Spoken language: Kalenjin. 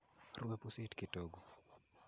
rue pusit kitogu